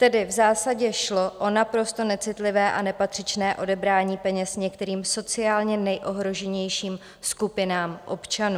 Tedy v zásadě šlo o naprosto necitlivé a nepatřičné odebrání peněz některým sociálně nejohroženějším skupinám občanů.